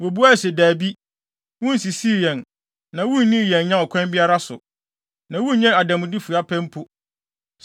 Wobuaa se, “Dabi, wunsisii yɛn, na wunnii yɛn nya ɔkwan biara so, na wunnyee adanmude fua pɛ mpo.”